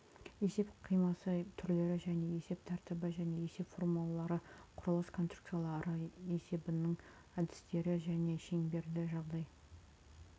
есеп қимасы түрлері және есеп тәртібі және есеп формулалары құрылыс конструкциялары есебінің әдістері және шеңберді жағдай